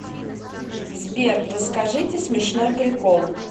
сбер расскажите смешной прикол